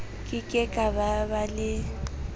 ke ke ba ba le